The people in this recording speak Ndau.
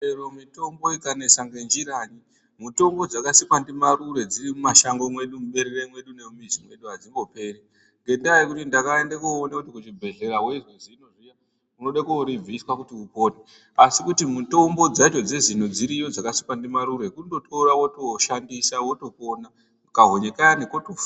Chero mutombo ukanesa ngenjiranyi mutombo dzakasikwa ndimarure dziri mumashango mwedu muberere mwedu nemumizi mwedu hadzimboperi. Ngendaa yekuti ndakaenda koone kuti kuchibhedhlera veizwa zino zviya unoda koribviswa kuti upore. Asi kuti mutombo dzacho dzezino dziriyo dzakasikwa ndimarure kundotora votoshandisa votopona kahonye kaya kotofa.